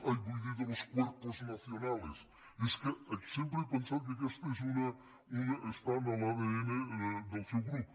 ai vull dir de los cuerpos nacionalesés que sempre he pensat que aquesta està en l’adn del seu grup